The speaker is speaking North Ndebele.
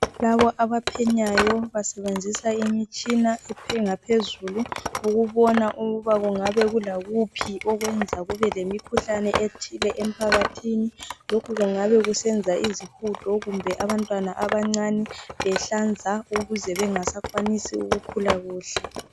Laba abaphenyayo basebenzisa imitshina yezinga eliphezulu ukubona ukuthi kungabe kulakuphi okwenza kubelemikhuhlane ethile emphakathini. Lokhu kungabe kusenza izihudo kumbe abantwana abancane behlanza ukuze bengasakwanisi ukukhula kuhle.